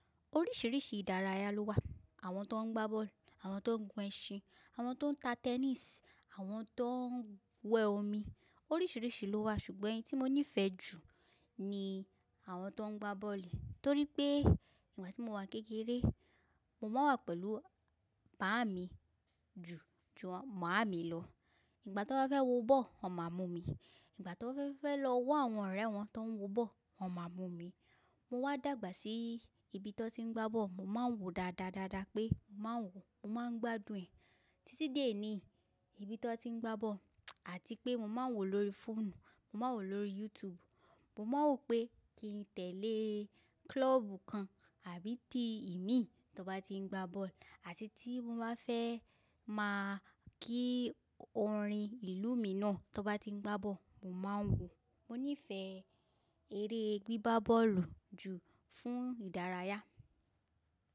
Oríṣiríṣi ìdárayá ló wà. Àwọn tó ń gbá bọ́ọ̀lù, àwọn tó ń gun ẹṣin, àwọn tó ń ta tennis, àwọn tó ń wẹ̀ omi. Oríṣiríṣi ló wà ṣùgbọ́n eyi tí mo nífẹ̀ẹ́ jù ni àwọn tó ń gbá bọ́ọ̀lù torí pé ìgbà tí mo wà kékeré, mo máa wà pẹ̀lú bàámi ju, ju mami lọ. Ìgbà tí wọ́n bá fẹ́ wo bọ́ọ̀lù, wọ́n máa mú mi. Ìgbà tí wọ́n bá fẹ́ lọ wa àwọn ọ̀rẹ́ wọn tó ń wo bọ́ọ̀lù, wọ́n máa mú mi. Mo wá dàgbà sí ibi tó ti ń gbá bọ́ọ̀lù. Mo máa ń wò dáadáa, dáadáa pé mo máa ń wò, mo máa ń gbádùn ẹ̀. Títí dé ní, ibi tan ti ń gbá bọ́ọ̀lù àti pé mo máa ń wò lórí fóònù, mo máa ń wò lórí YouTube. Mo máa ń wò pé kí n tẹ̀lé club kan àbí ti i mí tí wọ́n bá ti ń gbá bọ́ọ̀lù àti tí mo bá fẹ́ máa kí orin ìlú mi náà tí wọ́n bá ti ń gbá bọ́ọ̀lù, mo máa ń wò. Mo nífẹ̀ẹ́ eré gbígbá bọ́ọ̀lù jù fún ìdárayá.